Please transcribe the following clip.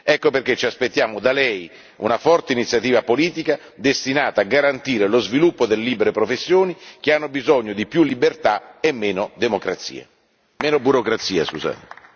Ecco perché ci aspettiamo da lei una forte iniziativa politica destinata a garantire lo sviluppo delle libere professioni, che hanno bisogno di più libertà e meno democrazia, meno burocrazia, scusate.